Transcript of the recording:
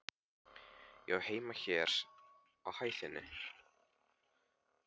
Ég á heima hér á hæðinni.